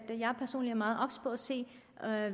personlig er meget obs på at se